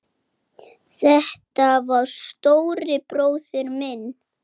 Sonur Vals er Máni Þór.